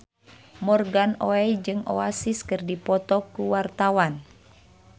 Morgan Oey jeung Oasis keur dipoto ku wartawan